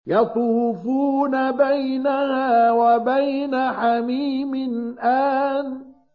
يَطُوفُونَ بَيْنَهَا وَبَيْنَ حَمِيمٍ آنٍ